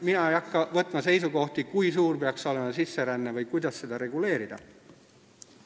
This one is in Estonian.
Mina ei hakka võtma seisukohta, kui suur peaks olema sisseränne või kuidas seda reguleerida.